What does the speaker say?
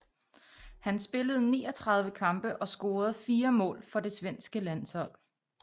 Han spillede 39 kampe og scorede fire mål for det svenske landshold